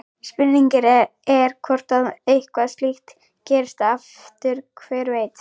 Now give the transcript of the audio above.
Spurningin er hvort að eitthvað slíkt gerist aftur, hver veit?